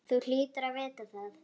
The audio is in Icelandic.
Þú hlýtur að vita það.